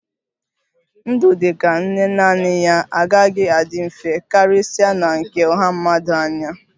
Ndụ dị ka nne naanị ya agaghị adị mfe, karịsịa na nke ọha mmadụ anyị a